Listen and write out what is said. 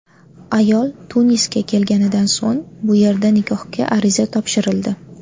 Ayol Tunisga kelganidan so‘ng bu yerda nikohga ariza topshirildi.